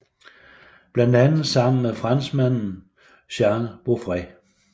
Blandt andet sammen med franskmanden Jean Beaufret